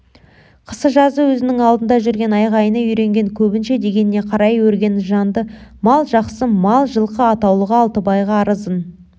қысы-жазы өзінің алдында жүрген айғайына үйренген көбінше дегеніне қарай өрген жанды мал жақсы мал жылқы атаулы алтыбайға арызын